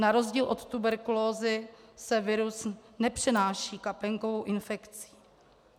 Na rozdíl od tuberkulózy se virus nepřenáší kapénkovou infekcí.